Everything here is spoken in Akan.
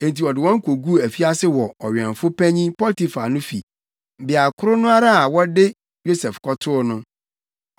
Enti ɔde wɔn koguu afiase wɔ ɔwɛmfo panyin Potifar no fi, beae koro no ara a wɔde Yosef kɔtoo no.